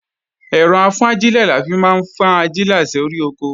Ẹ̀rọ-afúnajílẹ̀ la fi máa ń fi ajílẹ̀ sóri oko